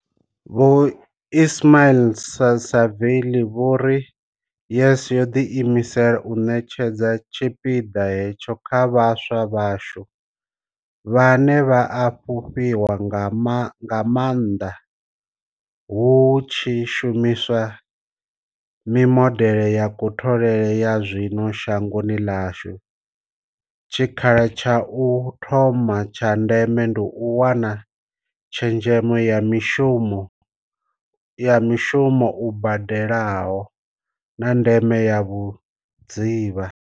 Vho Ismail-Saville vho ri YES yo ḓiimisela u ṋetshedza tshipiḓa hetsho kha vhaswa vhashu, vhane vha a fhufhiwa nga maanḓa hu tshi shumiswa mimodeḽe ya kutholele ya zwino shangoni ḽashu, tshikha la tsha u thoma tsha ndeme ndi u wana tshezhemo ya mushumo u badelaho, na ndeme ya vhudzivha.